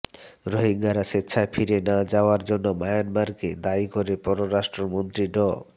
রোহিঙ্গারা স্বেচ্ছায় ফিরে না যাওয়ার জন্য মিয়ানমারকে দায়ী করে পররাষ্ট্রমন্ত্রী ড